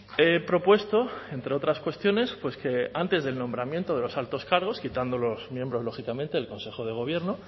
he propuesto entre otras cuestiones que antes del nombramiento de los altos cargos quitando los miembros lógicamente del consejo de gobierno